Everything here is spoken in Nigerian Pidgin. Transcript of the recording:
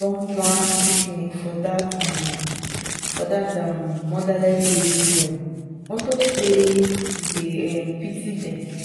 dat man be beta person see as he dey treat dat girl wey fall